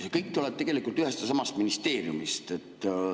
See kõik tuleb tegelikult ühest ja samast ministeeriumist.